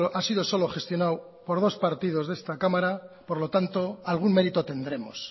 ha sido solo gestionado por dos partidos de esta cámara por lo tanto algún mérito tendremos